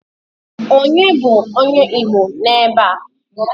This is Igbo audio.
Onye bụ onye igbo n'ebe a?